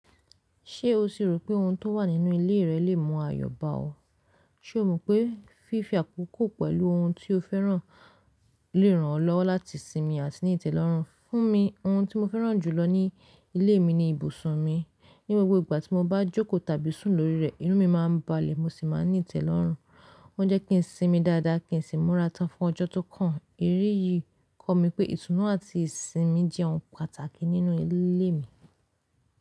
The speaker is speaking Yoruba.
Ṣé o sì rò pé ohun tó wà nínú ilé rẹ lè mú ayọ̀ bá ọ? Ṣe o mọ̀ pé fífi àkókò pẹ̀lú ohun tí o fẹ́ràn lè ran ọ́ lọ́wọ́ láti sinmi àti ní ìtẹ́lọ́rùn. Fún mi, ohun tí mo fẹ́ràn jùlọ ní ilé mi ni ibùsùn mi. Ní gbogbo ìgbà tí mo bá jókòó tàbí sùn lórí rẹ̀, inu mi máa ń balẹ̀ mo sì máa ń ní ìtẹ́lọ́rùn. Ó ń jẹ́ kí n sinmi dáadáa kí n sì múra tán fún ọjọ́ tó kàn. Éléyìí kọ̀ mí pé ìtùnú àti ìsinmi jẹ́ ohun pàtàkì nínú ilé mi.